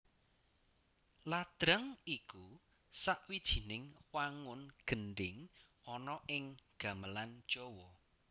Ladrang iku sawijining wangun gendhing ana ing gamelan Jawa